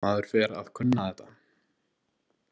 Maður fer að kunna þetta.